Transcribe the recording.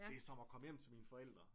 Det som at komme hjem til mine forældre